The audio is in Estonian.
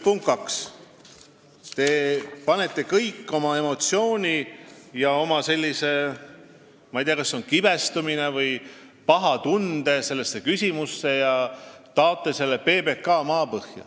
Punkt kaks: te panete kogu oma emotsiooni – ma ei tea, kas kibestumise või paha tunde – sellesse küsimusse ja taote PBK maapõhja.